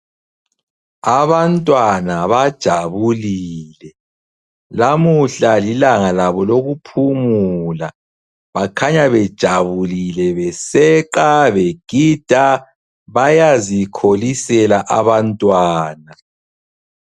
Abantwana bajabulile. Lamuhla lilanga labo lokuphumula. Bakhanya bejabulile beseqa begida. Bayazikholisela abantwana.